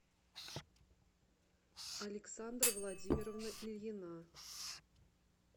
александра владимировна ильина